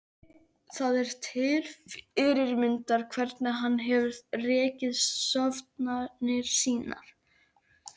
Það er til fyrirmyndar hvernig hann hefur rekið stofnanir sínar.